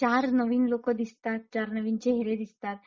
चार नवीन लोक दिसतात चार नवीन चेहरे दिसतात;